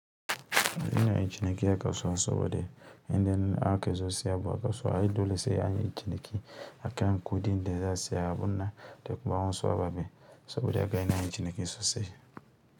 Ina yin ciniki a kasuwa saboda yanda in aka zo sayan abu a kasuwa. Ai dole sai anyi ciniki akan kuɗin da za siya abun nan da kuma waɗansu ababe saboda haka ina yin ciniki sosai.